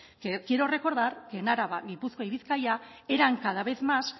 que quiero recordar que en araba gipuzkoa y bizkaia eran cada vez más